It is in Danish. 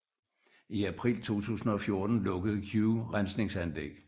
I april 2014 lukkede Oue Rensningsanlæg